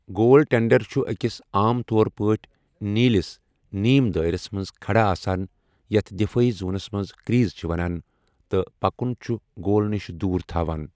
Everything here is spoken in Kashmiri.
گول ٹینڈر چھُ أکِس، عام طور پٲٹھۍ نیلِس، نیٖم دٲئرس منٛز کھڑا آسان یتھ دِفٲعی زونَس منٛز کریز چھِ وَنان تہٕ پکَن چھُ گول نِش دوٗر تھوان۔